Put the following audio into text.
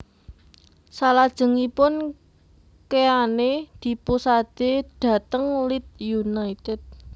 Salajengipun Keane dipusade dhateng Leeds United